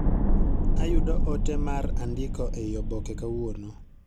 Ayudo ote mar andiko ei oboke kawuono